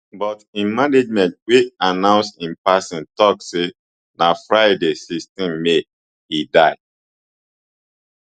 but im management wey announce im passing tok say na friday sixteen may e die